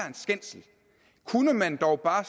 en skændsel kunne man dog bare